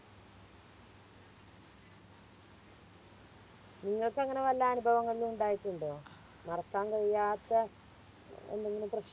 നിങ്ങക്കങ്ങനെ വല്ല അനുഭവങ്ങളും ഇണ്ടായിട്ടുണ്ടോ മറക്കാൻ കഴിയാത്ത എന്തെങ്കിലും പ്രശ്